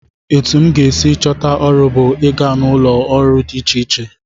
Etu m ga-esi chọta ọrụ bụ ịga n'ụlọọrụ dị iche iche